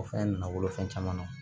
O fɛn nana wolo fɛn caman na